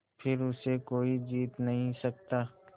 फिर उसे कोई जीत नहीं सकता